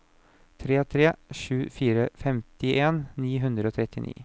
tre tre sju fire femtien ni hundre og trettini